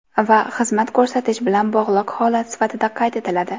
Va xizmat ko‘rsatish bilan bog‘liq holat sifatida qayd etiladi.